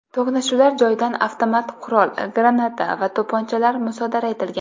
To‘qnashuvlar joyidan avtomat qurol, granata va to‘pponchalar musodara etilgan.